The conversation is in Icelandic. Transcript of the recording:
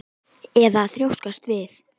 Eða að þrjóskast við?